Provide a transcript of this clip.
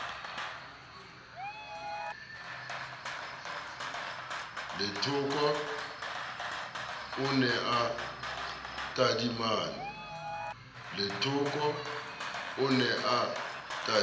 lethoko o ne a tadimane